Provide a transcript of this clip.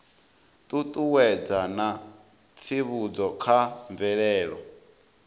ṱuṱuwedza na tsivhudzo kha mvelelo